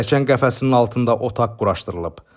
Pilləkən qəfəsinin altında otaq quraşdırılıb.